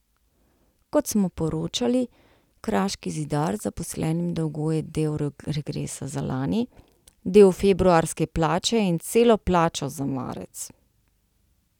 Kot smo poročali, Kraški zidar zaposlenim dolguje del regresa za lani, del februarske plače in celo plačo za marec.